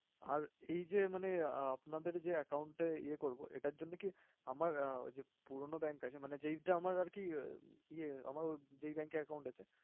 আর এইযে মানে আ~আপনাদের যে account এ ইয়ে করবো এটার জন্যে কি আমার ঐযে পুরনো bank আছে মানে যেইটা আমার আরকি ইয়ে আমার যে bank এ account আছে।